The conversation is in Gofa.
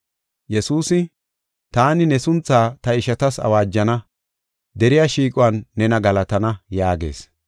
Yesuusi, “Taani ne sunthaa ta ishatas awaajana; deriya shiiquwan nena galatana” yaagees.